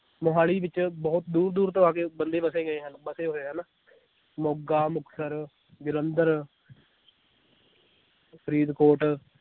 ਮੋਹਾਲੀ ਵਿਚ ਬਹੁਤ ਦੂਰ ਦੂਰ ਤੋਂ ਆ ਕੇ ਬੰਦੇ ਵਸੇ ਗਏ ਹਨ ਵਸੇ ਹੋਏ ਹਨ ਮੋਗਾ, ਮੁਕਤਸਰ, ਜਲੰਧਰ ਫਰੀਦਕੋਟ